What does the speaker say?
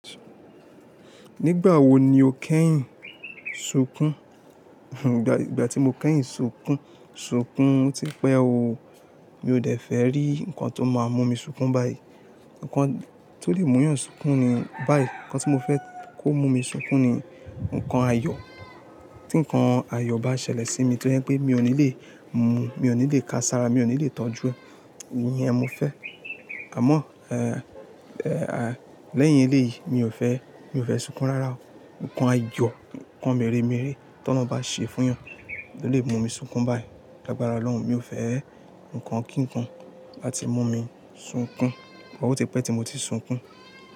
Nígbà wo ni o kẹ́yìn sunkún? Ìgbà tí mo kẹ́yìn sunkún, sunkún tí pẹ́ o. Mi ò dẹ̀ fẹ́ rí nǹkan tó máa mú mi sunkún báyìí. Ǹkan tó lè mú yàn sunkún ni báyìí, ǹkan tí mo fẹ́ kó mú mi sunkún ni ǹkan ayọ̀. Tí nǹkan ayọ̀ bá ṣẹlẹ̀ sí mi tó yẹ́n pé mi ò ní lè mu, mi ò ní lè ka sára, mi ò ní lè tọ́jú, ìyẹn mo fẹ́. Àmọ́, lẹ́yìn ilé yìí mi ò fẹ́, mi ò fẹ́ sunkún rárá o. Ǹkan ayọ̀, ǹkan mẹ́rẹ̀ mẹ́rẹ̀ tólọhun bá ṣe fún yàn lo lè mú mi sunkún báyìí. Lagbára Ọlọ́run, mi ò fẹ́ ǹkan kíǹkan láti mú mi sunkún. But óti pẹ́ tí mo ti sunkún.